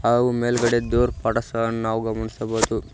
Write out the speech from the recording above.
ಹಾಗೂ ಮೇಲ್ಗಡೆ ದೇವರ ಪಟಾ ಸಹ ಗಳನು ನಾವು ಗಮನಿಸಬಹುದು.